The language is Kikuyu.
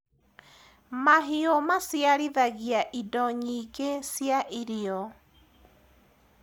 mahiũ maciarithagia indo nyingi cia irio